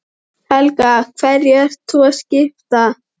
Helga: Hverju ert þú að skipta?